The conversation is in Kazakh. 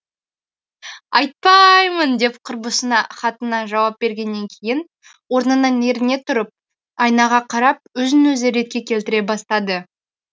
айтпаааймын деп құрбысына хатына жауап бергеннен кейін орнынан еріне тұрып айнаға қарап өзін өзі ретке келтіре бастады